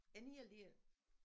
En hel del